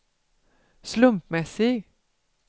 slumpmässig